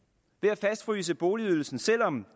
at fastfryse boligydelsen selv om